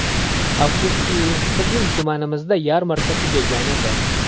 Afsuski, bizning tumanimizda yarmarka tugagan edi.